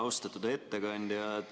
Austatud ettekandja!